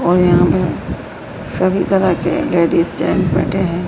और यहां पे सभी तरह के लेडिस जेंट्स बैठे हैं।